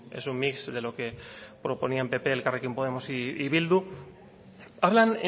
es un mix de lo que proponían pp elkarrekin podemos y bildu hablan